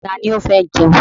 Ta ni ó fẹ́ jẹun?